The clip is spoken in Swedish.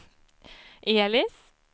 Elis